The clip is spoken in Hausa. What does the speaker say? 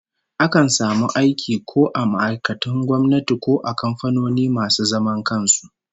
Akan samu aiki ko a ma'aikatun gwamnati ko a kamfanoni masu zaman kan su